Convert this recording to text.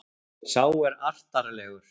Sá er artarlegur.